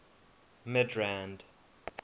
midrand